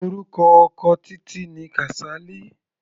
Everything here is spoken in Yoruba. Orúkọ ọkọ Títí ni Kasali.